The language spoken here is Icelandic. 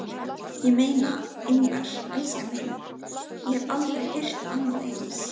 Ég meina, englar, elskan mín, ég hef aldrei heyrt annað eins.